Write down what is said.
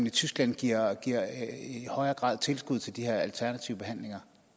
i tyskland i højere grad giver tilskud til de her alternative behandlinger